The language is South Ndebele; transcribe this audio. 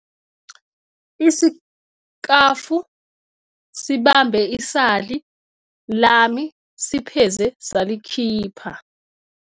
Isikafu sibambe isali lami sipheze salikhipha.